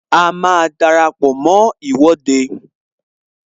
A máa dara pọ mó Ìwọ́de